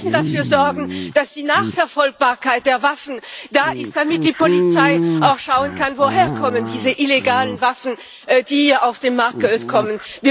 Wir müssen dafür sorgen, dass die Nachverfolgbarkeit der Waffen da ist, damit die Polizei auch schauen kann, woher diese illegalen Waffen kommen, die auf den Markt kommen.